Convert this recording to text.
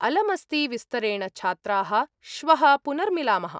अलमस्ति विस्तरेण, छात्राः, श्वः पुनर्मिलामः!